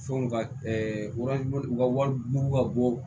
Fɛnw ka wari u ka wariw ka bɔ